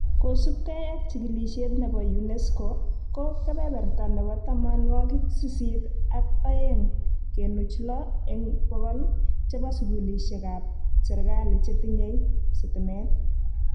Kosubgei ak jikilisiet nebo UNESCO ko kebeberta nebo tamanwokik sisit ak oeng kenuch lo eng bokol chebo sukulishekab serikali che tinyei stimet